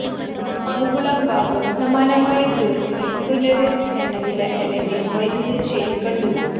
മുകുളം ഭാഗം സമാനമായ ധ്രുവത്തിൽ പ്രുനെര്സ് എണ്ണവില അല്ലെങ്കിൽ വൈദ്യുത ചെയിൻ കണ്ടു